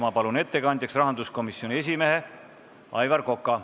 Ma palun ettekandjaks rahanduskomisjoni esimehe Aivar Koka.